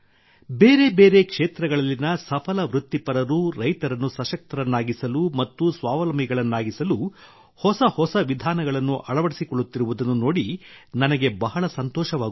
ಬೇರೆ ಬೇರೆ ಕ್ಷೇತ್ರಗಳಲ್ಲಿನ ಸಫಲ ವೃತ್ತಿಪರರು ರೈತರನ್ನು ಸಶಕ್ತರನ್ನಾಗಿಸಲು ಮತ್ತು ಸ್ವಾವಲಂಬಿಗಳನ್ನಾಗಿಸಲು ಹೊಸ ಹೊಸ ವಿಧಾನಗಳನ್ನು ಅಳವಡಿಸಿಕೊಳ್ಳುತ್ತಿರುವುದನ್ನು ನೋಡಿ ನನಗೆ ಬಹಳ ಸಂತೋಷವಾಗುತ್ತದೆ